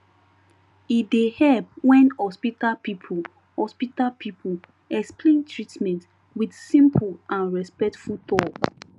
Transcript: e dey help when hospital people hospital people explain treatment with simple and respectful talk